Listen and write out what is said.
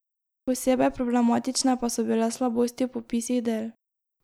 Posebej problematične pa so bile slabosti v popisih del.